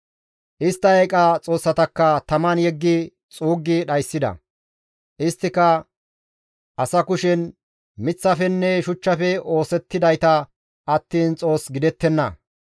Istta eeqa xoossatakka taman yeggi xuuggi dhayssida; isttika asa kushen miththafenne shuchchafe oosettidayta attiin xoos gidettenna.